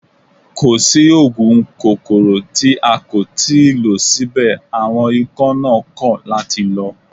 Kò sí oògùn kòkòrò tí a kò tí ì lò síbẹ̀ àwọn ikán náà kọ̀ láti lọ